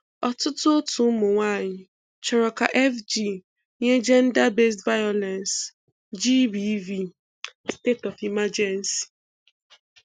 Ọtụtụ òtù ụmụ nwaanyị chọrọ ka FG nye gender based violence GBV 'state-of-emergency'.